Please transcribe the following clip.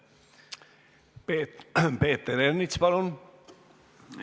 Peeter Ernits, palun!